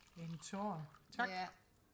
en tår tak